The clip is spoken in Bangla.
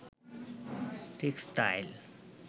টেক্সটাইল